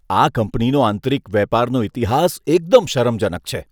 આ કંપનીનો આંતરિક વેપારનો ઈતિહાસ એકદમ શરમજનક છે.